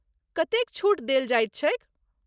कतेक छूट देल जाइत छैक?